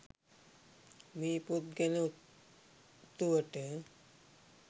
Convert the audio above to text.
මේ පොත් ගැන ඔත්තුවට.